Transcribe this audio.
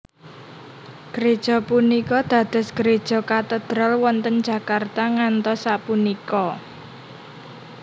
Gréja punika dados gréja Katedral wonten Jakarta ngantos sapunika